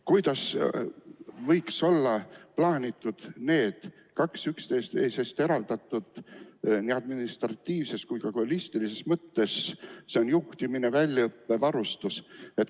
Kuidas võiks olla plaanitud need kaks üksteisest eraldatud kohustust nii administratiivses kui ka muus mõttes – see on juhtimine, väljaõpe, varustus?